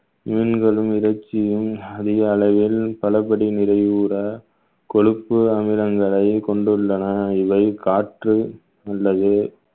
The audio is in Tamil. மீன்களும் இறைச்சியும் அதிக அளவில் நிறைவுற கொழுப்பு அமிலங்களை கொண்டுள்ளன இதை காற்று உள்ளது